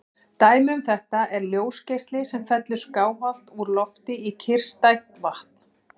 Dæmi um þetta er ljósgeisli sem fellur skáhallt úr lofti í kyrrstætt vatn.